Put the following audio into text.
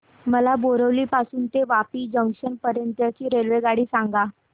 मला बोरिवली पासून तर वापी जंक्शन पर्यंत ची रेल्वेगाडी सांगा